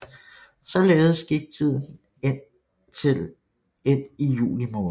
Således gik tiden indtil ind i juli måned